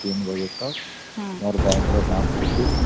କାମ ଚାଲିଥାଏ